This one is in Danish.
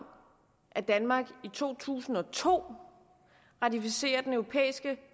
at danmark i to tusind og to ratificerer den europæiske